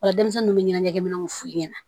Ola denmisɛnninw bɛ ɲɛnajɛkɛ minɛnw f'u ɲɛna